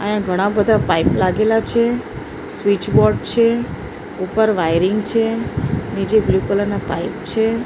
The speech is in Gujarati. આઈયા ઘણા-બધા પાઈપ લાગેલા છે સ્વીચ બોર્ડ છે ઉપર વાયરીંગ છે નીચે બ્લુ કલર ના પાઇપ છે.